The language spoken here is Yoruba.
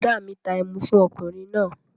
Bọ̀ọ̀dá mi ta ẹmu fún ọkùnrin náà